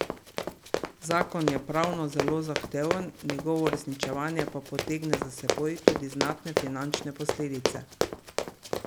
Zakon je pravno zelo zahteven, njegovo uresničevanje pa potegne za seboj tudi znatne finančne posledice.